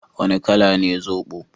Wane kala ne zobo?